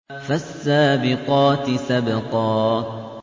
فَالسَّابِقَاتِ سَبْقًا